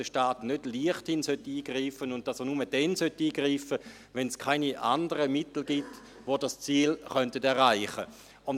Der Staat sollte nicht leichtfertig eingreifen, sondern nur dann, wenn es keine anderen Mittel gibt, mit denen das Ziel erreicht werden kann.